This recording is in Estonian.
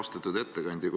Austatud ettekandja!